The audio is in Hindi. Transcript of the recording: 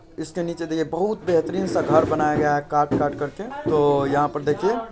इसके नीचे देखिए बहुत बेहतरीन सा घर बनाया गया है काट-काट कर के तो यहाँ पर देखिए --